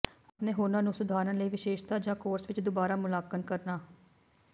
ਆਪਣੇ ਹੁਨਰ ਨੂੰ ਸੁਧਾਰਨ ਲਈ ਵਿਸ਼ੇਸ਼ਤਾ ਜਾਂ ਕੋਰਸ ਵਿੱਚ ਦੁਬਾਰਾ ਮੁਲਾਂਕਣ ਕਰਨਾ